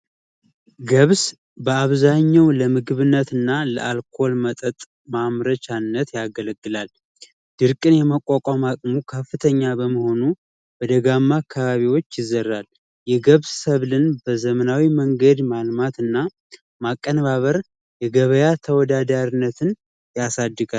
ገብስ በአብዛኛው ለምግብነት እና ለአልኮል ማምረቻነት ያገለግላል። ድርቅን የመቋቋም አቅሙ ከፍተኛ በመሆኑ በደጋማ አካባቢዎች ያፈራል። የገብስ ዘርን በዘመናዊ መንገድ ማልማትና ማቀንባበር የገበያ ተወዳዳሪነትን ያሳድጋል።